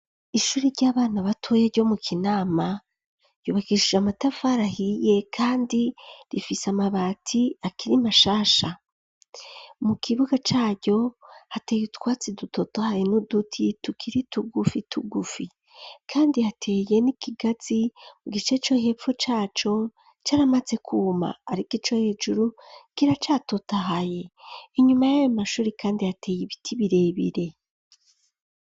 ishuri ry'abana batoye ryo mu kinama ryubakeshije amatafara ahiye kandi rifise amabati akiri mashasha .Mu kibuga caryo hateye utwatsi dutotahaye n'uduti tukiri tugufi tugufi kandi ateye n'ikigazi mu gice co hepfo caco caramaze kuma ariko ico hejuru kiracatotahaye, inyuma y'ayo mashuri kandi ateye ibiti birebire.